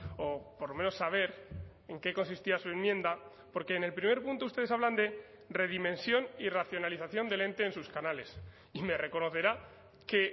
o por lo menos saber en qué consistía su enmienda porque en el primer punto ustedes hablan de redimensión y racionalización del ente en sus canales y me reconocerá que